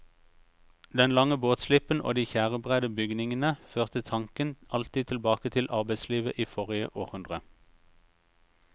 Den lange båtslippen og de tjærebredde bygningene førte tanken alltid tilbake til arbeidslivet i forrige århundre.